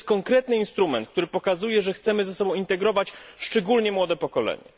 To jest konkretny instrument, który pokazuje, że chcemy ze sobą integrować szczególnie młode pokolenie.